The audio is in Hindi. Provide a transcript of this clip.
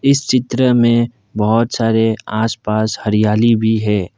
इस चित्र में बहुत सारे आसपास हरियाली भी है।